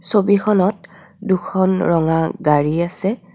ছবিখনত দুখন ৰঙা গাড়ী আছে.